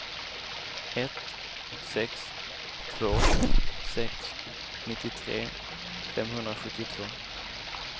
ett sex två sex nittiotre femhundrasjuttiotvå